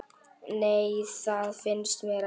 Nei, það finnst mér ekki.